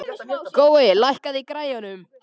Gói, lækkaðu í græjunum.